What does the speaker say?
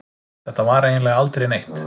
Þetta var eiginlega aldrei neitt.